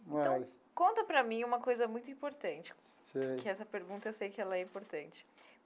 Então, conta para mim uma coisa muito importante. Sei. Que essa pergunta eu sei que ela é importante.